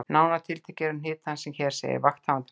Nánar tiltekið eru hnit hans sem hér segir: Vakthafandi Læknir